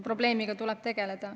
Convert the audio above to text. Probleemiga tuleb tegeleda.